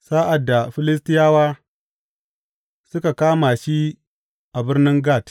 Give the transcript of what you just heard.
Sa’ad da Filistiyawa suka kama shi a birnin Gat.